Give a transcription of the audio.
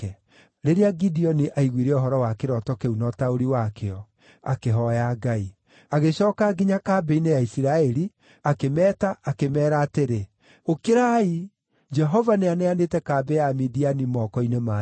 Rĩrĩa Gideoni aiguire ũhoro wa kĩroto kĩu na ũtaũri wakĩo, akĩhooya Ngai. Agĩcooka nginya kambĩ-inĩ ya Isiraeli akĩmeeta akĩmeera atĩrĩ, “Ũkĩrai! Jehova nĩaneanĩte kambĩ ya Amidiani moko-inĩ manyu.”